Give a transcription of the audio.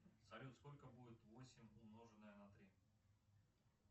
салют сколько будет восемь умноженное на три